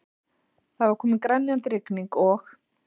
Það var komin grenjandi rigning og